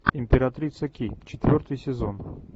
императрица ки четвертый сезон